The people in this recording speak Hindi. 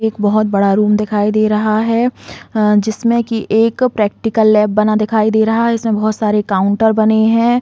एक बोहोत बड़ा कमरा दिखाई दे रहा है अ जिसमें की एक प्रैक्टिकल लैब बना दिखाई दे रहा है। इसमें बोहोत सारे काउंटर बने हैं।